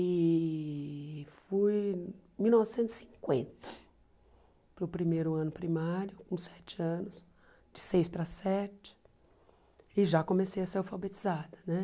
E fui em mil novecentos e cinquenta para o primeiro ano primário, com sete anos, de seis para sete, e já comecei a ser alfabetizada né.